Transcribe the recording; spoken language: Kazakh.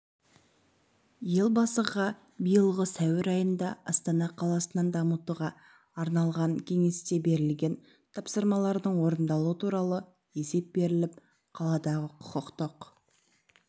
елбасыға биылғы сәуір айында астана қаласын дамытуға арналғанкеңесте берілген тапсырмалардың орындалуы туралы есеп беріліп қаладағы құқықтық